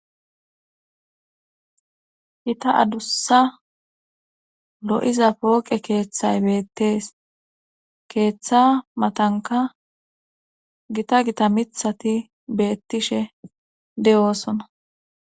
Gita adussa lo7iza pooqe keeththay beettees keeththa matanka gita gita mithati beettishe de7oosona.